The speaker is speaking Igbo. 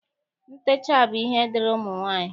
Ntecha bụ ihe dịịrị ụmụ nwaanyị